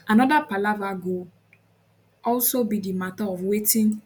anoda palava go also be di mata of wetin